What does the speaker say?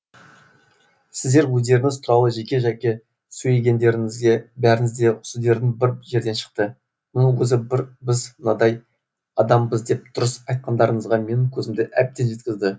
сіздер өздеріңіз туралы жеке жеке сөйлегендеріңізде бәріңіздің де сөздеріңіз бір жерден шықты мұның өзі біз мынадай адамбыз деп дұрыс айтқандарыңызға менің көзімді әбден жеткізді